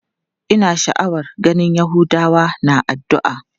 Ina sha'awar ganin yahudawa na addu'a.